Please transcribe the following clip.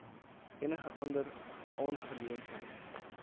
enige ander aangeleentheid